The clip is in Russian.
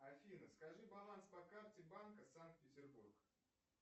афина скажи баланс по карте банка санкт петербург